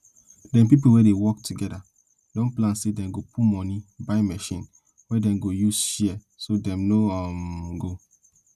dem pipo we dey work together don plan say dem go put money buy machines wey dem go dey use share so dem no um go